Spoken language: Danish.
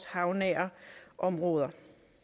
havnære områder